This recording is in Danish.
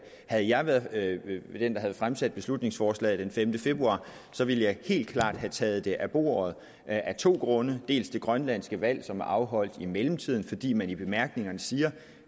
havde jeg været den der havde fremsat beslutningsforslaget den femte februar ville jeg helt klart have taget det af bordet af to grunde dels det grønlandske valg som er afholdt i mellemtiden fordi man i bemærkningerne siger